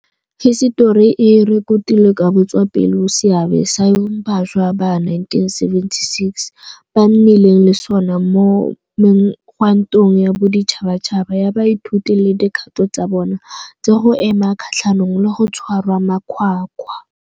Hisetori e rekotile ka botswapelo seabe seo bašwa ba 1976 ba nnileng le sona mo megwantong ya boditšhabatšhaba ya baithuti le dikgato tsa bona tsa go ema kgatlhanong le go tshwarwa makgwakgwa.